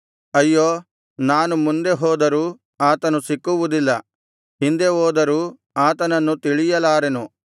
ಅಯ್ಯೋ ನಾನು ಮುಂದೆ ಹೋದರೂ ಆತನು ಸಿಕ್ಕುವುದಿಲ್ಲ ಹಿಂದೆ ಹೋದರೂ ಆತನನ್ನು ತಿಳಿಯಲಾರೆನು